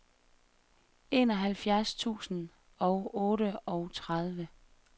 enoghalvfjerds tusind og otteogtredive